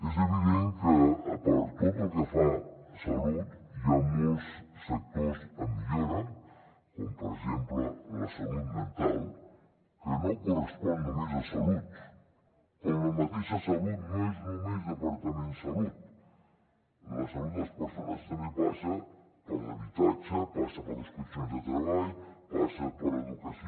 és evident que per tot el que fa a salut hi ha molts sectors de millora com per exemple la salut mental que no correspon només a salut com la mateixa salut no és només departament de salut la salut de les persones també passa per l’habitatge passa per les condicions de treball passa per educació